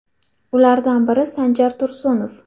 Ulardan biri Sanjar Tursunov.